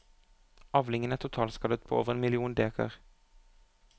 Avlingen er totalskadet på over én million dekar.